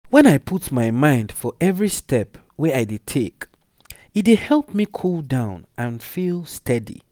when i put my mind for every step wey i dey take e dey help me cool down and feel steady.